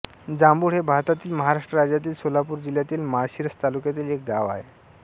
जांबुड हे भारतातील महाराष्ट्र राज्यातील सोलापूर जिल्ह्यातील माळशिरस तालुक्यातील एक गाव आहे